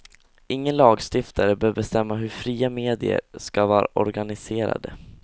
Ingen lagstiftare bör bestämma hur fria medier ska vara organiserade.